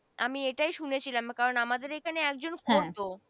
আমি এটাই শুনেছিলাম কারণ আমাদের ওখানে একজন করত।